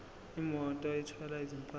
imoto ethwala izimpahla